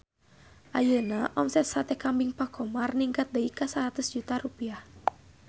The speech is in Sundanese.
Ayeuna omset Sate Kambing Pak Khomar ningkat dugi ka 100 juta rupiah